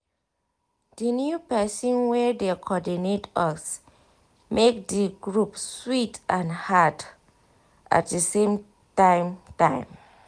di new pesin wey dey cordinate us make di group sweet and hard at di same time time